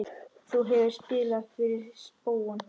Þú hefur spilað fyrir spóann?